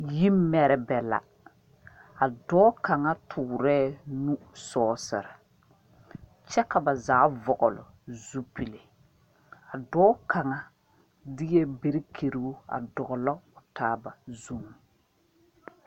Yi merɛbɛ la, a dɔɔ kaŋa toɔre nu sɔɔsere ,kyɛ ka ba zaa vɔgle zupele a dɔɔ kaŋa derɛ berekyiire doglɔ ba taa ba zuŋ.